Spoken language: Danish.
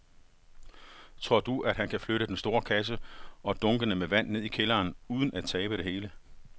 Tror du, at han kan flytte den store kasse og dunkene med vand ned i kælderen uden at tabe det hele?